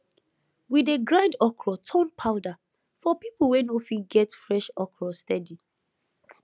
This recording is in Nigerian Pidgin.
we dey grind okra turn powder for people wey no fit get fresh okra steady